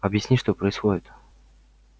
объясни что происходит